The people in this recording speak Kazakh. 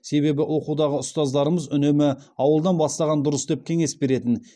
себебі оқудағы ұстаздарымыз үнемі ауылдан бастаған дұрыс деп кеңес беретін